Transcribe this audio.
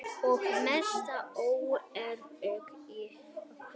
Og mesta óöryggið í okkur.